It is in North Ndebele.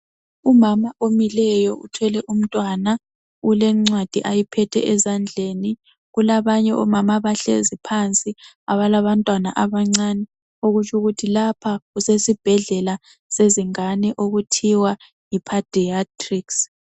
Umama omileyo uthwele umntwana ,ulencwadi ayiphethe ezandleni .Kulabanye omama abahlezi phansi abalabantwana abancane okutsho ukuthi lapha kusesibhedlela sezingane okuthiwa yi"Pediatrics".